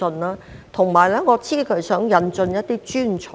我亦知道他想引入一些專才。